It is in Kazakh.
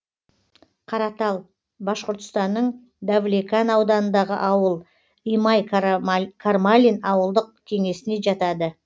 каратал башқұртстанның давлекан ауданындағы ауыл имай кармалин ауылдық кеңесіне жатады